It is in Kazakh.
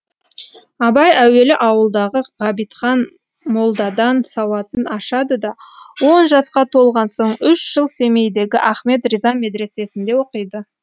абай әуелі ауылдағы ғабитхан молдадан сауатын ашады да он жасқа толған соң үш жыл семейдегі ахмет риза медресесінде оқиды